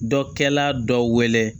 Dɔkɛla dɔ weele